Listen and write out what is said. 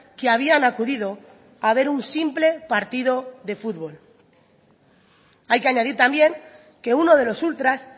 que habían acudido a ver un simple partido de fútbol hay que añadir también que uno de los ultras